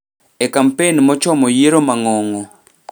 e kampen mochomo yiero mang'ongo'